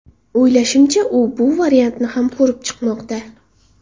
O‘ylashimcha, u bu variantni ham ko‘rib chiqmoqda”.